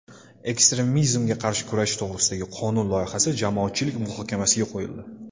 Ekstremizmga qarshi kurashish to‘g‘risidagi qonun loyihasi jamoatchilik muhokamasiga qo‘yildi.